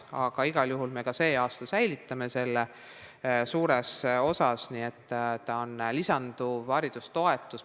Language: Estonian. Aga igal juhul säilitame need vahendid suures osas ka sel aastal, nii et endiselt on olemas lisanduv haridustoetus.